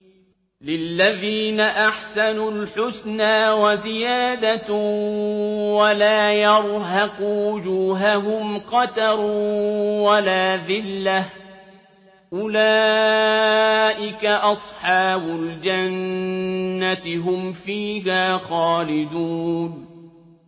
۞ لِّلَّذِينَ أَحْسَنُوا الْحُسْنَىٰ وَزِيَادَةٌ ۖ وَلَا يَرْهَقُ وُجُوهَهُمْ قَتَرٌ وَلَا ذِلَّةٌ ۚ أُولَٰئِكَ أَصْحَابُ الْجَنَّةِ ۖ هُمْ فِيهَا خَالِدُونَ